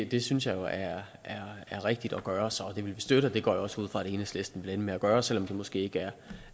det synes jeg jo er rigtigt at gøre så det vil vi støtte og det går jeg også ud fra at enhedslisten vil ende med at gøre selv om de måske ikke